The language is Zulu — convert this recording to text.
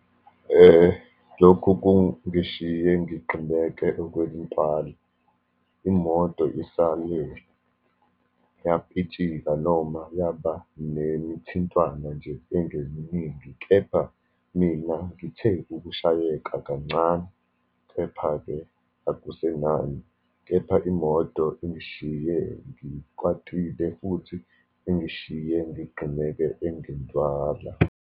Lokhu kungishiye ngixineke okwentala. Imoto isale yapitshika, noma yaba nemithintwano nje engeminingi, kepha mina ngithe ukushayeka kancane. Kepha-ke akusenani. Kepha imoto ingiyishiye ngikwatile, futhi ingiyishiye ngixinekile engentwala.